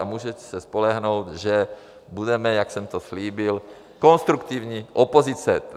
A můžete se spolehnout, že budeme, jak jsem to slíbil, konstruktivní opozice.